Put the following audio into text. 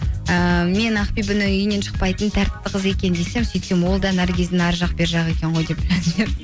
ііі мен ақбибіні үйінен шықпайтын тәртіпті қыз екен десем сөйтсем ол да наргиздің арғы жақ бер жағы екен ғой деп